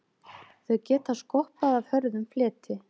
Þau geta skoppað af hörðum fleti.